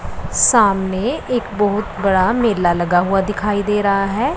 सामने एक बहोत बड़ा मेला लगा हुआ दिखाई दे रहा है।